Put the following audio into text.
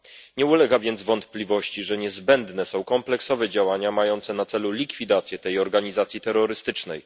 Nie ulega więc wątpliwości, że niezbędne są kompleksowe działania mające na celu likwidację tej organizacji terrorystycznej.